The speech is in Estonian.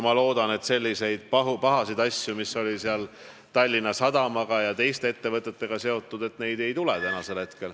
Ma loodan, et selliseid pahasid asju, mis olid Tallinna Sadama ja teiste ettevõtetega seotud, enam ei tule.